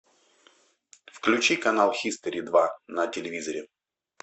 включи канал хистори два на телевизоре